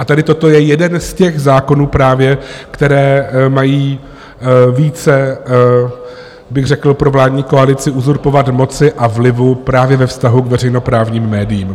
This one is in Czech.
A tady toto je jeden z těch zákonů právě, které mají více bych řekl pro vládní koalici uzurpovat moci a vlivu právě ve vztahu k veřejnoprávním médiím.